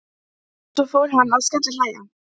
En svo fór hann að skellihlæja.